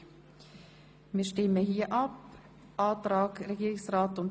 Somit kommen wir direkt zur Abstimmung.